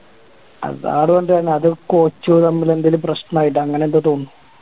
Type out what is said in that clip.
hazard വന്നിട്ടാണ് അത് coach തമ്മില് എന്തേലും പ്രശനം ആയിട്ട് അങ്ങനെ എന്തോ തോന്നുന്നു